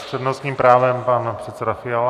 S přednostním právem pan předseda Fiala.